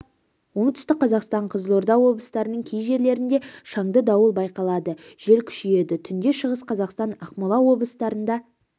оңтүстік қазақстан қызылорда облыстарының кей жерлерінде шаңды дауыл байқалады жел күшейеді түнде шығыс қазақстан ақмола облыстарында